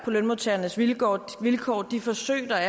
lønmodtagernes vilkår vilkår de forsøg der